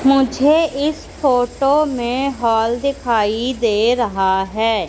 मुझे इस फोटो में हॉल दिखाई दे रहा है।